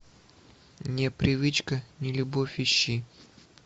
не привычка не любовь ищи